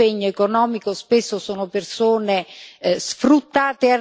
L'impegno economico spesso sono persone sfruttate